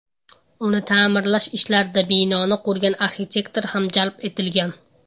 Uni ta’mirlash ishlarida binoni qurgan arxitektor ham jalb etilgan.